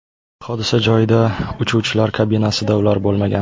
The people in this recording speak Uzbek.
Hodisa joyida uchuvchilar kabinasida ular bo‘lmagan.